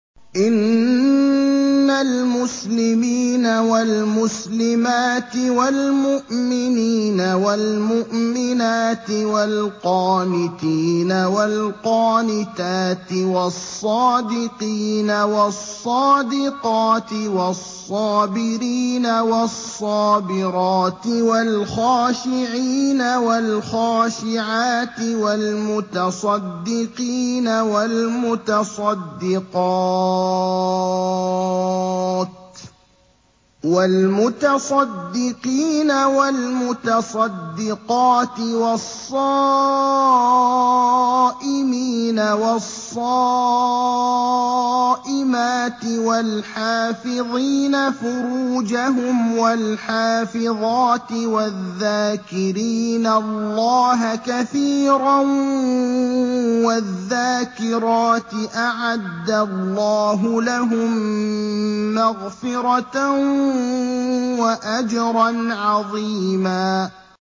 إِنَّ الْمُسْلِمِينَ وَالْمُسْلِمَاتِ وَالْمُؤْمِنِينَ وَالْمُؤْمِنَاتِ وَالْقَانِتِينَ وَالْقَانِتَاتِ وَالصَّادِقِينَ وَالصَّادِقَاتِ وَالصَّابِرِينَ وَالصَّابِرَاتِ وَالْخَاشِعِينَ وَالْخَاشِعَاتِ وَالْمُتَصَدِّقِينَ وَالْمُتَصَدِّقَاتِ وَالصَّائِمِينَ وَالصَّائِمَاتِ وَالْحَافِظِينَ فُرُوجَهُمْ وَالْحَافِظَاتِ وَالذَّاكِرِينَ اللَّهَ كَثِيرًا وَالذَّاكِرَاتِ أَعَدَّ اللَّهُ لَهُم مَّغْفِرَةً وَأَجْرًا عَظِيمًا